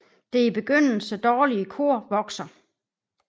Det i begyndelse dårlige kor vokser